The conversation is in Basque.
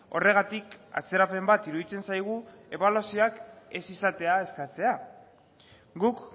horregatik atzerapen bat iruditzen zaigu ebaluazioak ez izatea eskatzea guk